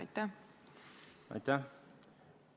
Aitäh!